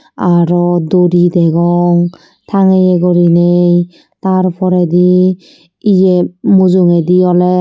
arow duri degong tangeye guriney tar poedi ye mujungedi oley.